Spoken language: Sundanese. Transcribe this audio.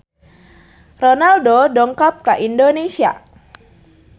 Ronaldo dongkap ka Indonesia